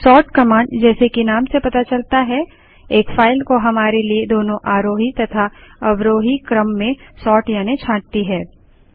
sort command जैसे कि नाम से पता चलता है एक फाइल को हमारे लिए दोनों आरोही तथा अवरोही क्रम में सोर्ट यानि छांटती है